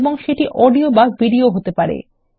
এবং সেটি অডিও বা ভিডিও হতে পারে